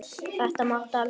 Þetta máttu aldrei gera.